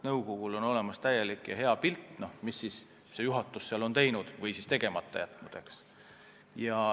Nõukogul on olemas täielik pilt, mida juhatus on teinud või tegemata jätnud.